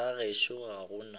ga gešo ga go na